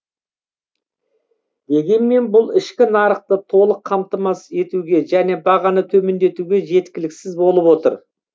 дегенмен бұл ішкі нарықты толық қамтамасыз етуге және бағаны төмендетуге жеткіліксіз болып отыр